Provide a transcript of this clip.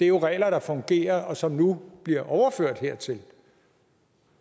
jo er regler der fungerer og som nu bliver overført hertil og